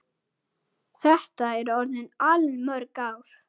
Þetta eru orðin allmörg ár.